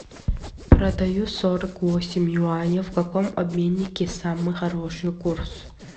продаю сорок восемь юаней в каком обменнике самый хороший курс